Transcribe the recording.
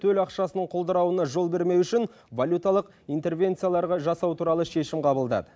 төл ақшасының құлдырауына жол бермеу үшін валюталық интервенцияларға жасау туралы шешім қабылдады